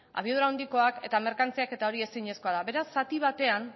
abiadura handikoak eta merkantziak eta hori ezinezkoa da beraz zati batean